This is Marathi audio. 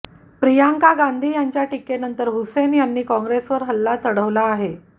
प्रियांका गांधी यांच्या टिकेनंतर हुसैन यांनी काँग्रेसवर हल्ला चढवला आहे